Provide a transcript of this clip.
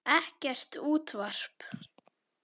Ekkert útvarp.